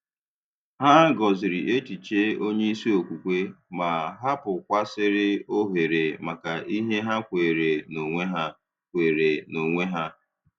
Hà gọ̀zìrì echiche onye isi okwukwe, ma hapụ̀kwasị̀rị́ ohere maka ihe ha kweere n’onwe ha. kweere n’onwe ha.